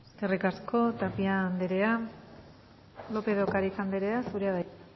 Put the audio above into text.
eskerrik asko tapia anderea lópez de ocariz anderea zurea da hitza